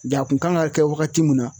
Ja kun kan ka kɛ wagati mun na